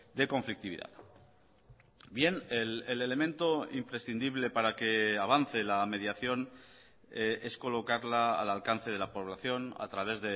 de conflictividad bien el elemento imprescindible para que avance la mediación es colocarla al alcance de la población a través